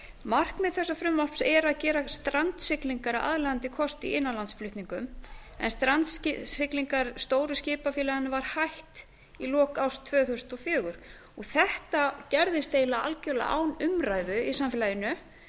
markmið þessa frumvarps er að gera strandsiglingar aðlaðandi kost í innanlandsflutningum en strandsiglingum stóru skipafélaganna var hætt í lok árs tvö þúsund og fjögur þetta gerðist eiginlega algjörlega án umræðu í samfélaginu